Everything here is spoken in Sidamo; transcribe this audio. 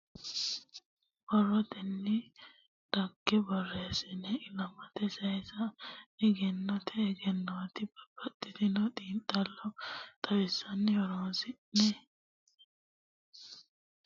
Borrotenni dhagge borreessine ilamate saysa egennote egennoti babbaxxitino xiinxallo xawinsanni horonsi'ne xaano dhaggenke baattonke ofolla aga ittanke bude kalqete leelisho sidaamutta, Tophiyutta.